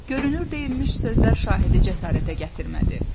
Görünür deyilmiş sözlər şahidi cəsarətə gətirmədi.